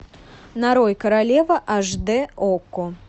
нарой королева аш д окко